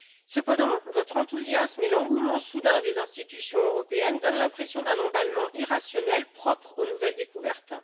Cependant, votre enthousiasme et l'engouement soudain des institutions européennes donnent l'impression d'un emballement irrationnel, propre aux nouvelles découvertes.